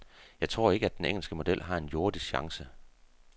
Jeg tror ikke, at den engelske model har en jordisk chance.